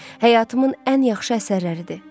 Həyatımın ən yaxşı əsərləridir.